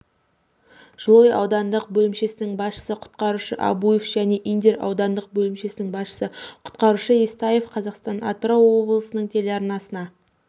жылой аудандық бөлімшесінің басшысы құтқарушы абуев және индер аудандық бөлімшесінің басшысы құтқарушы естаев қазақстан-атырау облыстық телеарнасына